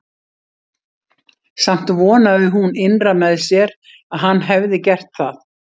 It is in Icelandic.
Samt vonaði hún innra með sér að hann hefði gert það.